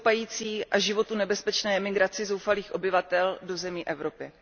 stoupající a životu nebezpečné emigraci zoufalých obyvatel do zemí Evropy.